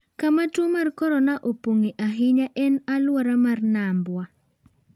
Kama tuo mar korona opong’e ahinya en alwora mar Nambwa.